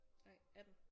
Nej 18